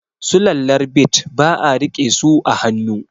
Sulallar bit ba a rike su a hannu